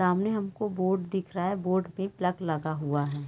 सामने हमको बोर्ड दिख रहा है। बोर्ड पे प्लग लगा हुआ है।